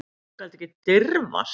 Þú skalt ekki dirfast.